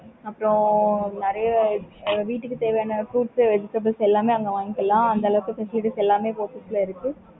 அப்புறம் நிறைய வீட்டுக்கு தேவையான fruits vegetables